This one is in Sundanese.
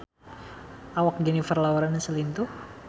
Awak Jennifer Lawrence lintuh